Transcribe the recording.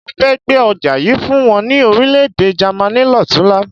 Mo fẹ́ gbé ọjà yìí fún wọn ní Orílẹ̀-èdè Jàmaní lọ́tunla.